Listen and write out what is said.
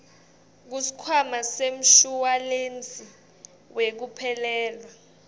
kusikhwama semshuwalensi wekuphelelwa